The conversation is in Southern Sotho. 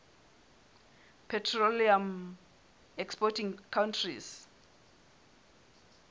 petroleum exporting countries